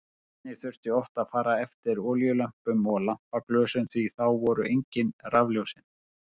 Einnig þurfti oft að fara eftir olíulömpum og lampaglösum því að þá voru engin rafljósin.